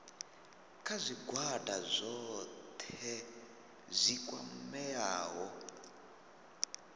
kha zwigwada zwohe zwi kwameaho